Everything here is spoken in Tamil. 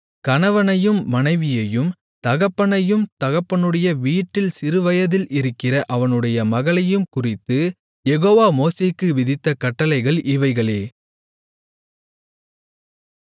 கணவனையும் மனைவியையும் தகப்பனையும் தகப்பனுடைய வீட்டில் சிறு வயதில் இருக்கிற அவனுடைய மகளையும் குறித்து யெகோவா மோசேக்கு விதித்த கட்டளைகள் இவைகளே